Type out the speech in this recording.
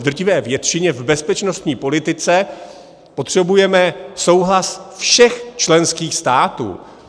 V drtivé většině v bezpečnostní politice potřebujeme souhlas všech členských států.